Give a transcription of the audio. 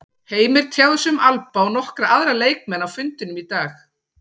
Heimir tjáði sig um Alba og nokkra aðra leikmenn á fundinum í dag.